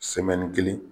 kelen